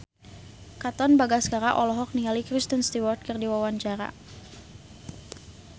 Katon Bagaskara olohok ningali Kristen Stewart keur diwawancara